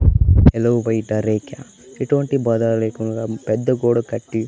Hello బయట రేఖ్య ఇటువంటి బాధ లేకుండా పెద్ద గోడ కట్టి.